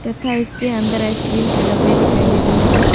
तथा इसके अंदर आइसक्रीम के डब्बे दिखाई दे रहे हैं।